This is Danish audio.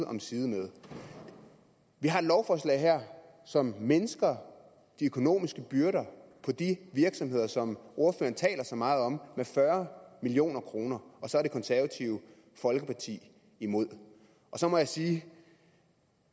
om side med vi har et lovforslag her som mindsker de økonomiske byrder på de virksomheder som ordføreren taler så meget om med fyrre million kroner og så er det konservative folkeparti imod så må jeg sige